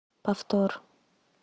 повтор